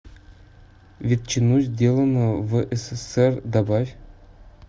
ветчину сделано в ссср добавь